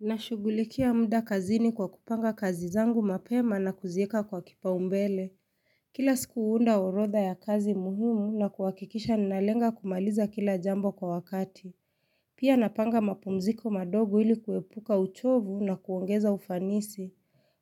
Nashughulikia muda kazini kwa kupanga kazi zangu mapema na kuziweka kwa kipaumbele. Kila siku huunda orodha ya kazi muhimu na kuhakikisha ninalenga kumaliza kila jambo kwa wakati. Pia napanga mapumziko madogo ili kuepuka uchovu na kuongeza ufanisi.